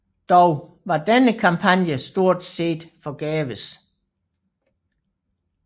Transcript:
Dog var denne kampagne stort set forgæves